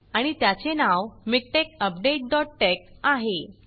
आणि त्याचे नाव मिकटेक्स अपडेट डॉट texआहे